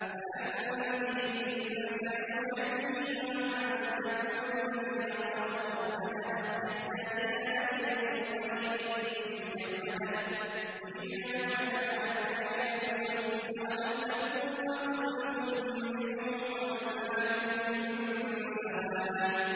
وَأَنذِرِ النَّاسَ يَوْمَ يَأْتِيهِمُ الْعَذَابُ فَيَقُولُ الَّذِينَ ظَلَمُوا رَبَّنَا أَخِّرْنَا إِلَىٰ أَجَلٍ قَرِيبٍ نُّجِبْ دَعْوَتَكَ وَنَتَّبِعِ الرُّسُلَ ۗ أَوَلَمْ تَكُونُوا أَقْسَمْتُم مِّن قَبْلُ مَا لَكُم مِّن زَوَالٍ